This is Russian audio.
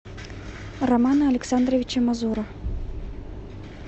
романа александровича мазура